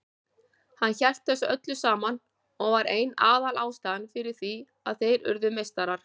Hann hélt þessu öllu saman og var ein aðalástæðan fyrir því að þeir urðu meistarar.